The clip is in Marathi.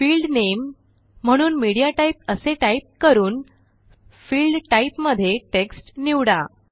फील्ड नामे म्हणून मीडियाटाइप असे टाईप करून फील्ड टाइप मध्ये टेक्स्ट निवडा